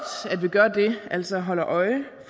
at vi gør det altså holder øje